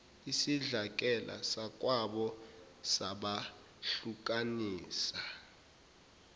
isidlakela sakwabo sabahlukanisa